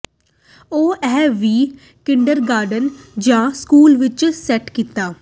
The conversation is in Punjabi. ਉਹ ਇਹ ਵੀ ਕਿੰਡਰਗਾਰਟਨ ਜ ਸਕੂਲ ਵਿੱਚ ਸੈੱਟ ਕੀਤਾ